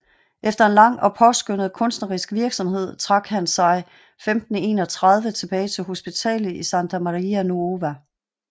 Efter en lang og påskønnet kunstnerisk virksomhed trak han sig 1531 tilbage til hospitalet i Santa Maria Nuova